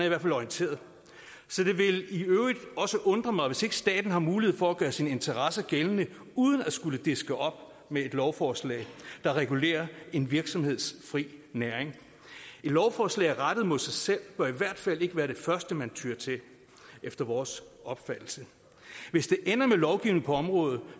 i hvert fald orienteret så det vil i øvrigt også undre mig hvis ikke staten har mulighed for at gøre sine interesser gældende uden at skulle diske op med et lovforslag der regulerer en virksomheds fri næring et lovforslag rettet mod sig selv bør i hvert fald ikke være det første man tyer til efter vores opfattelse hvis det ender med lovgivning på området